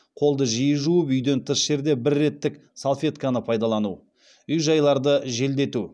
қолды жиі жуып үйден тыс жерде бір реттік салфетканы пайдалану үй жайларды желдету